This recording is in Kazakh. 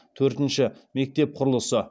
төртінші мектеп құрылысы